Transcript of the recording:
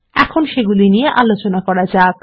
এখন সেগুলি নিয়ে আলোচনা করা যাক